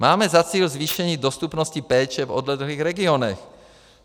Máme za cíl zvýšení dostupnosti péče v odlehlých regionech.